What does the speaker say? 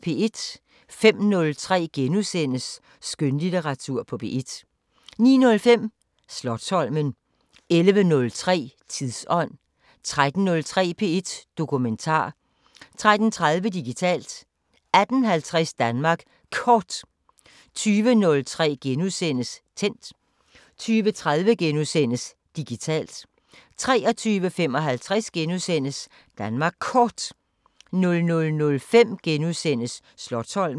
05:03: Skønlitteratur på P1 * 09:05: Slotsholmen 11:03: Tidsånd 13:03: P1 Dokumentar 13:30: Digitalt 18:50: Danmark Kort 20:03: Tændt * 20:30: Digitalt * 23:55: Danmark Kort * 00:05: Slotsholmen *